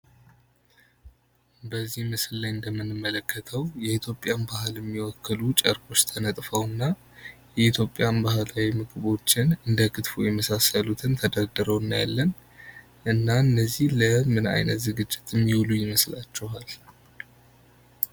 በዚህ ምስል ላይ እንደምንመለከተው የኢትዮጵያን ባህል የሚወክሉ ልብሶች ተነጥፈው እና ባህላዊ ምግቦች እንደ ክትፎ የመሳሰሉት ተደርድረው እናያለን እና እነዚህ ምግቦች ለምን ዝግጅት የሚወሉ ይመስላችኋል?